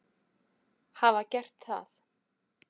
hafa gert það.